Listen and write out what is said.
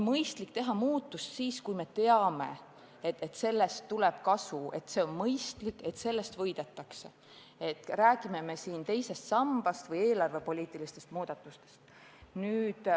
Mõistlik on teha muutusi vaid siis, kui me teame, et sellest tuleb kasu, et see on arukas, et sellest võidetakse – olgu jutt teisest sambast või eelarvepoliitilistest muudatustest.